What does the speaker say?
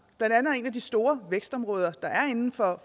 et af de store vækstområder der er inden for